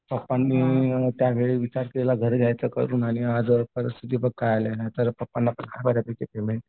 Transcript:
पप्पांनी त्यावेळी विचार केला घर घ्यायचं करून आणि आज परिस्थिती बघ काय आली आहे नाहीतर बघ पप्पांना पण आहे बऱ्यापैकी पेमेंट.